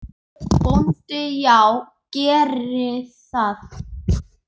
BÓNDI: Já, gerið það.